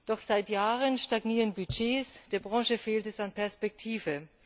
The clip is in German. Doch seit Jahren stagnieren Budgets, der Branche fehlt es an Perspektive.